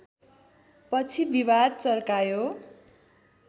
पछि विवाद चर्कायो